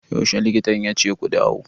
Yaushe likitan yace ku dawo?